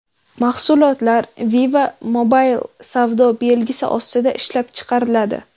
Mahsulotlar Viva Mobil savdo belgisi ostida ishlab chiqariladi.